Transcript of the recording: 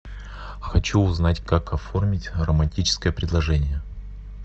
хочу узнать как оформить романтическое предложение